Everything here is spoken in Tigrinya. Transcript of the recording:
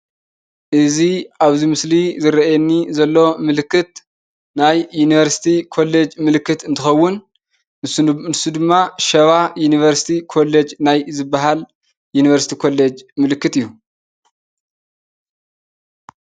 እዚ አብዚ ምስሊ ዝረአየኒ ዘሎ ምልክት ናይ ዩንቨርስቲ ኮለጅ ምልክት እንትኸውን ንሱ ድማ ሸባ ዩንቨርስቲ ኮለጅ ናይ ዝበሃል ዩንቨርስቲ ኮለጅ ምልክት እዩ።